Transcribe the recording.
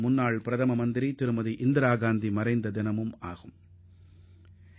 முன்னாள் பிரதமர் இந்திரா காந்தியின் நினைவு தினமும் அக்டோபர் 31 அன்றுதான் வருகிறது